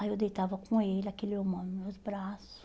Aí eu deitava com ele, aquele humano, meus braços.